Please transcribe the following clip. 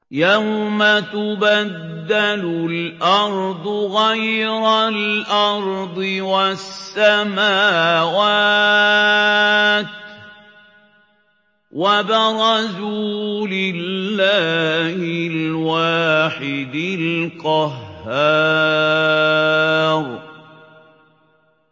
يَوْمَ تُبَدَّلُ الْأَرْضُ غَيْرَ الْأَرْضِ وَالسَّمَاوَاتُ ۖ وَبَرَزُوا لِلَّهِ الْوَاحِدِ الْقَهَّارِ